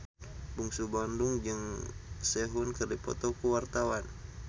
Bungsu Bandung jeung Sehun keur dipoto ku wartawan